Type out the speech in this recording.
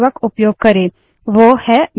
इस प्रक्रिया को pipelining कहते हैं